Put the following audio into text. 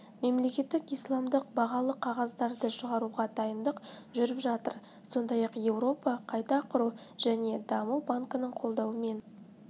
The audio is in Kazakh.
мемлекеттік исламдық бағалы қағаздарды шығаруға дайындық жүріп жатыр сондай-ақ еуропа қайта құру және даму банкінің қолдауымен